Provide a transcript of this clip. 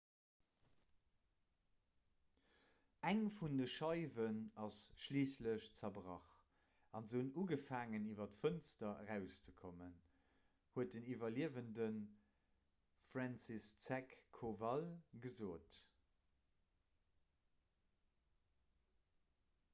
eng vun de scheiwen ass schliisslech zerbrach a se hunn ugefaangen iwwer d'fënster erauszekommen huet den iwwerliewende franciszek kowal gesot